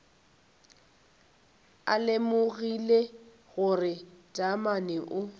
a lemogile gore taamane o